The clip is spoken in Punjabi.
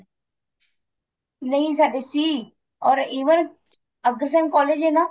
ਨਹੀਂ ਸਾਡੇ ਸੀ or even ਅਗਰਸੈਨ college ਏ ਨਾ